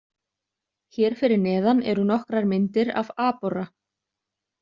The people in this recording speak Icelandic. Hér fyrir neðan eru nokkrar myndir af aborra.